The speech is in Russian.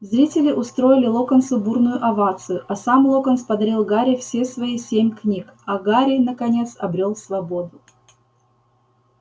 зрители устроили локонсу бурную овацию а сам локонс подарил гарри все свои семь книг а гарри наконец обрёл свободу